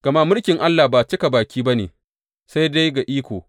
Gama mulkin Allah ba cika baki ba ne, sai dai ga iko.